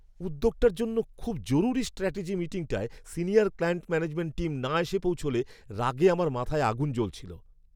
উদ্যোগটার জন্য খুব জরুরি স্ট্র্যাটেজি মিটিংটায় সিনিয়র ক্লায়েন্ট ম্যানেজমেন্ট টীম না এসে পৌঁছলে রাগে আমার মাথায় আগুন জ্বলছিল।